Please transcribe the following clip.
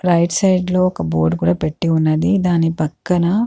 right side లో ఒక board కూడా పెట్టి ఉన్నదీ దాని పక్కన --